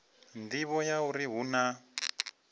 nḓivho ya uri hu na